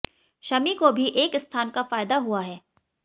शमी को भी एक स्थान का फायदा हुआ है